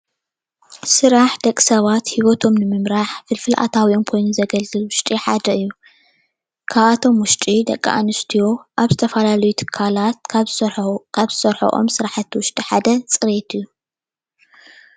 ስራሕ ደቅሰባት ሂወቶም ንንምራሕ ፍልፍል ኣታዊኦም ኾይኑ ዘገልግል ውሽጢ ሓደ እዩ። ካብኣቶም ውሽጢ ደቅኣንስትዮ ኣብ ዝተፈላለዩ ትካላት ካብ ዝሰርሐኦ ዝሰርሐኦም ስራሕቲ ሓደ ፅሬት እዩ።